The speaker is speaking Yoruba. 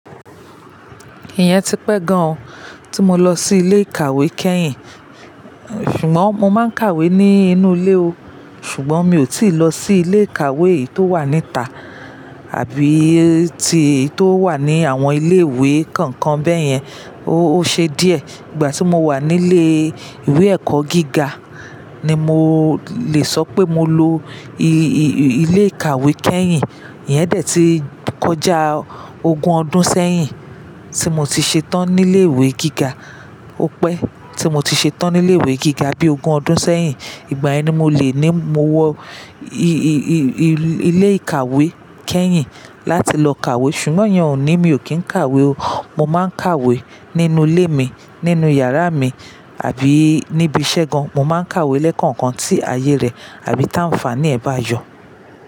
Ìyẹn ti pẹ́ gan o tí mo lọ sí ilé ìkàwé kẹ́yìn, ṣùgbọ́n mo máa ń kàwé nínú ilé o, ṣùgbọ́n mi ò tíì lọ sí ilé ìkàwé èyí tó wà níta àbí ti tó wà ní àwọn ilé ìwé kankan bẹ́yẹn. Ó, ó ṣe díẹ̀. Ìgbà tí mo wà nílé ìwé ẹ̀kọ́ gíga ni mo lè sọ pé mo lo i-i-ilé ìkàwé kẹ́yìn. Iyẹn dẹ̀ ti kọjá ogún ọdún sẹ́yìn tí mo ti ṣe tán nílé ìwé gíga. Ó pẹ́ tí mo ti ṣe tán nílé ìwé gíga bí ogún ọdún sẹ́yìn. Ìgbà yẹ ni mo lè ní mo wọ i-i-i-i-ilé ìkàwé kẹ́yìn láti lọ kàwé, ṣùgbọ́n ìyẹn ò ní mi ò kín kàwé o. Mo máa ń kàwé nínú ilé mi, nínú yàrá mi, àbí níbi iṣẹ́ gan. Mo máa ń kàwé lẹ́kànkan tí ayé rẹ̀ àbí tá ń fàá ní ẹ̀ bá yọ.